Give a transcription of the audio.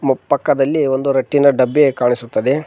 ಮು ಪಕ್ಕದಲ್ಲಿ ಒಂದು ರಟ್ಟಿನ ಡಬ್ಬಿ ಕಾಣಿಸುತ್ತದೆ.